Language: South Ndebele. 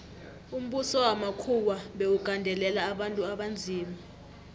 umbuso wamakhuwa bewugandelela abantu abanzima